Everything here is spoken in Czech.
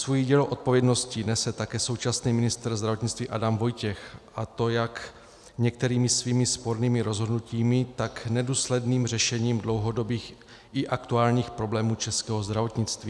Svůj díl odpovědnosti nese také současný ministr zdravotnictví Adam Vojtěch, a to jak některými svými spornými rozhodnutími, tak nedůsledným řešením dlouhodobých i aktuálních problémů českého zdravotnictví.